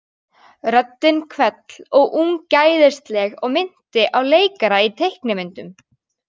Röddin hvell og ungæðisleg og minnti á leikara í teiknimyndum.